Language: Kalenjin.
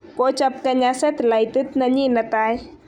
Kochob Kenya setilaitit nenyi ne tai.